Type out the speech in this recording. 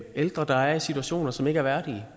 ældre der er i situationer som ikke er værdige